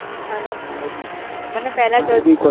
બરાબર મારે બી અને મન